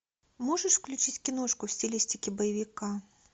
можешь включить киношку в стилистике боевика